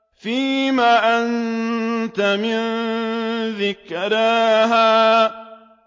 فِيمَ أَنتَ مِن ذِكْرَاهَا